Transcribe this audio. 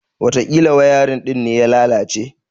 Watakila wayarin din ne ya lalace.